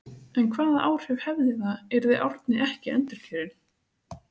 En hvaða áhrif hefði það yrði Árni ekki endurkjörinn?